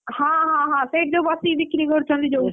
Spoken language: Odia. ହଁହଁ ସେଇଠି ଯୋଉ ବସିକି ବିକ୍ରି କରୁଛନ୍ତି ଯୋଉ,